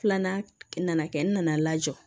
Filanan nana kɛ n nana lajɔ